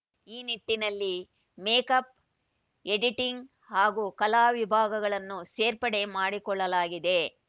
ಈ ನಿಟ್ಟಿನಲ್ಲಿ makeup editing ಹಾಗೂ ಕಲಾ ವಿಭಾಗವನ್ನೂ ಸೇರ್ಪಡೆ ಮಾಡಿಕೊಳ್ಳಲಾಗಿದೆ